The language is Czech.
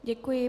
Děkuji.